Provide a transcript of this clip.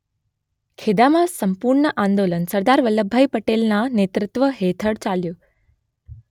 ખેદામાં સપૂર્ણ આંદોલન સરદાર વલ્લભભાઈ પટેલના નેતૃત્વ હેઠળ ચાલ્યું